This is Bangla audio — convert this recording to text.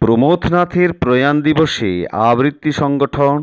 প্রমথ নাথের প্রয়াণ দিবসে আবৃতি সংগঠন